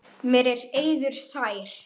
Mér er eiður sær.